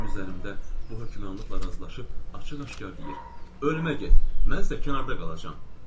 Mənim üzərimdə bu hökmranlıqla razılaşıb açıq-aşkar deyir: Ölmə get, mən isə kənarda qalacağam.